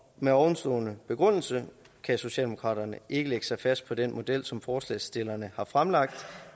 med ovenstående begrundelse kan socialdemokraterne ikke lægge sig fast på den model som forslagsstillerne har fremlagt